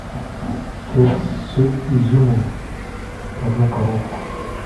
кекс с изюмом одну коробку